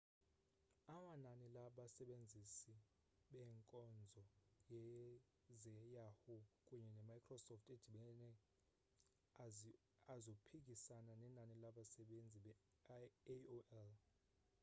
amanani labasebenzisi beenkonzo ze-yahoo kunye ne-microsoft edibene azophikisana nenani labsebenzisi be-aol